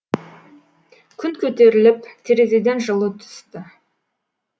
күн көтеріліп терезеден жылу түсті